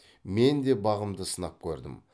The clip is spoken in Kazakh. мен де бағымды сынап көрдім